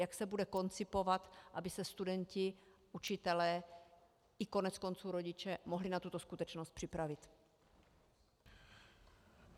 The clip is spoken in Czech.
Jak se bude koncipovat, aby se studenti, učitelé i koneckonců rodiče mohli na tuto skutečnost připravit?